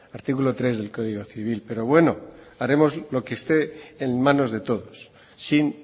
artículo tres del código civil pero bueno haremos lo que esté en manos de todos sin